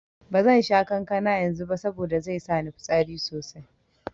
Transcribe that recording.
Bazan sha kankana yanzu ba saboda zai sa ni fitsari sosai.